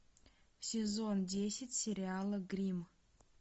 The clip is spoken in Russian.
сезон десять сериала гримм